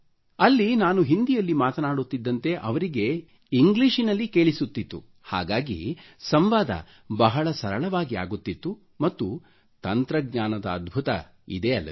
ಅಲ್ಲಿ ನಾನು ಹಿಂದಿ ಯಲ್ಲಿ ಮಾತನಾಡುತ್ತಿದ್ದಂತೆ ಅವರಿಗೆ ಇಂಗ್ಲೀಷಿನಲ್ಲಿ ಕೇಳಿಸುತ್ತಿತ್ತು ಹಾಗಾಗಿ ಸಂವಾದ ಬಹಳ ಸರಳವಾಗಿ ಆಗುತ್ತಿತ್ತು ಮತ್ತು ತಂತ್ರಜ್ಞಾನದ ಅದ್ಭುತ ಇದೇ ಅಲ್ಲವೆ